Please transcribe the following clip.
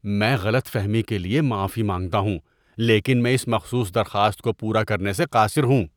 میں غلط فہمی کے لیے معافی مانگتا ہوں، لیکن میں اس مخصوص درخواست کو پورا کرنے سے قاصر ہوں۔